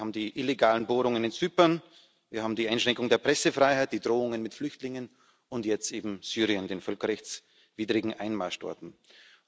Wir haben die illegalen Bohrungen in Zypern, wir haben die Einschränkung der Pressefreiheit, die Drohungen mit Flüchtlingen und jetzt eben den völkerrechtswidrigen Einmarsch in Syrien.